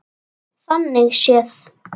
Þannig séð.